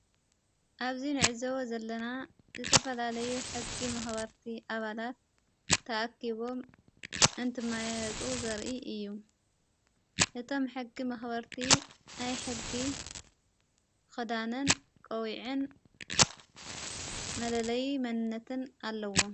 ኣብዙይ ነዕዘዎ ዘለና ዝተፈላለዩ ሕጊ መኽበርቲ ኣባላት ተኣኪቦም እንትማይጡ ዘርኢ እዩ እቶም ሕጊ መኽበርቲ ናይ ሕጊ ኽዳንን ቀዊዕን መለለይ መንነትን ኣለዎ።